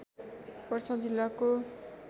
पर्सा जिल्लाको